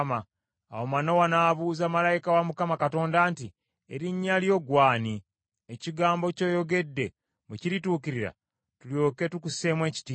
Awo Manowa n’abuuza malayika wa Mukama Katonda nti, “Erinnya lyo ggwe ani, ekigambo ky’oyogedde bwe kirituukirira tulyoke tukuseemu ekitiibwa?”